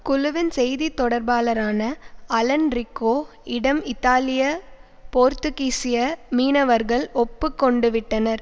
குழுவின் செய்தி தொடர்பாளரான அலன் ரிக்கோ இடம் இத்தாலிய போர்த்துகீசிய மீனவர்கள் ஒப்பு கொண்டுவிட்டனர்